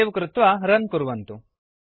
save कृत्वा run कुर्वन्तु